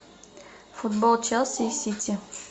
футбол челси и сити